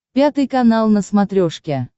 пятый канал на смотрешке